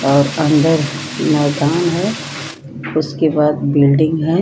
और अंदर मैदान है उसके बाद बिल्डिंग है।